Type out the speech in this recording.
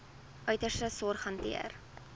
uiterste sorg hanteer